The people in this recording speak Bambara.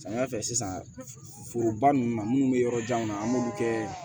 Samiya fɛ sisan foroba ninnu na minnu bɛ yɔrɔ janw na an b'olu kɛ